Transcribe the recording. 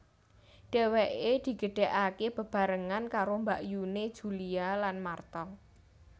Dhèwèké digedhèkaké bebarengan karo mbakyuné Julia lan Martha